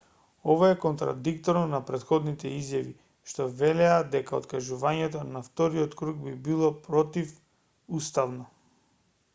ова е контрадикторно на претходните изјави што велеа дека откажувањето на вториот круг би било противуставно